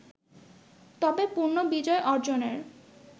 তবে পূর্ণ বিজয় অর্জনের